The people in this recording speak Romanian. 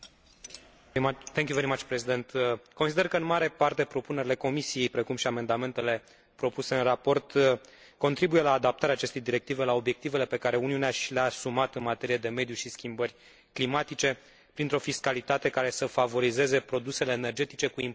Consider că în mare parte propunerile Comisiei, precum și amendamentele propuse în raport contribuie la adaptarea acestei directive la obiectivele pe care Uniunea și le a asumat în materie de mediu și schimbări climatice, printr o fiscalitate care să favorizeze produsele energetice cu impact cât mai scăzut asupra mediului.